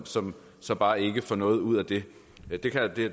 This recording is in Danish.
som som bare ikke får noget ud af det